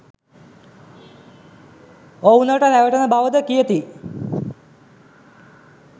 ඔවුනට රැවටෙන බව ද කියති